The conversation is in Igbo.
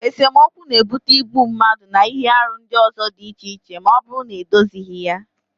Esemokwu n'ebute igbu mmadụ na ihe arụ ndị ọzọ dị iche iche ma ọ bụrụ na edozighi ya